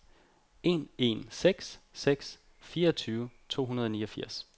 en en seks seks fireogtyve to hundrede og niogfirs